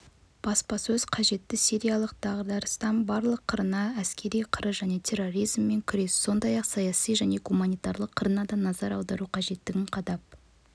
баспасөз қызметі сириялық дағдарыстың барлық қырына әскери қыры және терроризммен күрес сондай-ақ саяси және гуманитарлық қырына да назар аудару қажеттігін қадап